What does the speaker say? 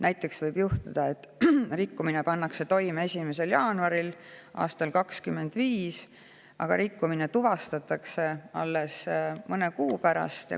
Näiteks võib juhtuda, et rikkumine pannakse toime 1. jaanuaril aastal 2025, aga rikkumine tuvastatakse alles mõne kuu pärast.